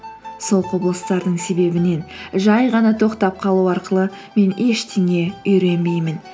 сол құбылыстардың себебінен жай ғана тоқтап қалу арқылы мен ештеңе үйренбеймін